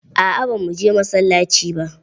Aa ba mu je masallaci ba.